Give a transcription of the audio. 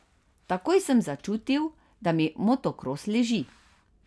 Takoj sem začutil, da mi motokros leži.